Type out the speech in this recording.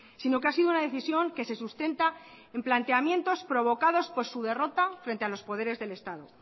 sino que ha sido una decisión que se sustenta en planteamientos provocados por su derrota frente a los poderes del estado